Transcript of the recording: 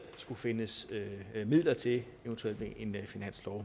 skulle findes midler til eventuelt